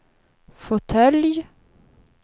fåtölj